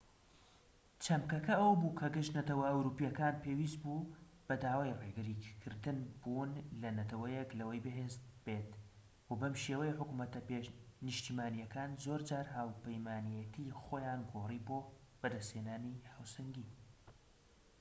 چەمکەکە ئەوە بوو کە گشت نەتەوە ئەوروپیەکان پێویست بوو بەدوای ڕێگری کردن بوون ەل نەتەوەیەک لەوەی بەهێز بێت و بەم شێوەیە حکومەتە نیشتیمانیەکان زۆرجار هاوپەیمانیەتی خۆیان گۆڕی بۆ بەدەست هێنانی هاوسەنگی